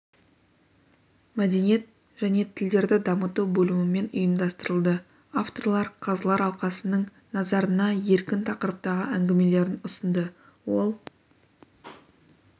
мәдениет және тілдерді дамыту бөлімімен ұйымдастырылды авторлар қазылар алқасының назарына еркін тақырыптағы әңгімелерін ұсынды ол